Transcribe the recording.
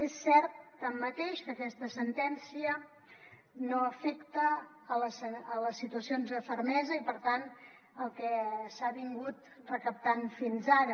és cert tanmateix que aquesta sentència no afecta les situacions de fermesa i per tant el que s’ha recaptat fins ara